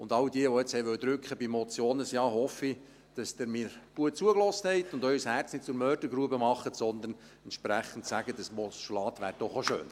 Und all jene, die nun bei der Motion auf ein Ja drücken wollten: Ich hoffe, dass Sie mir gut zugehört haben und Ihr Herz nicht zur Mördergrube machen, sondern entsprechend sagen: Ein Postulat wäre doch auch schön.